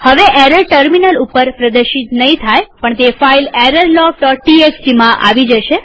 હવે error terminal ઉપર પ્રદર્શિત નહીં થાયપણ તે ફાઈલ errorlogtxtમાં આવી જશે